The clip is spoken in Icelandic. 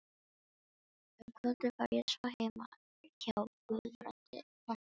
Um kvöldið var ég svo heima hjá Guðbrandi hreppstjóra.